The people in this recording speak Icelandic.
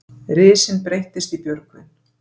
Risinn breyttist í Björgvin.